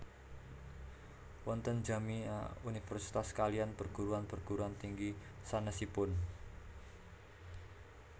Wonten Jami ah Universitas kaliyan Perguruan perguruan tinggi sanesipun